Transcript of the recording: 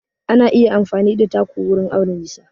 Ana iya amfani da taku wurin auna nisa.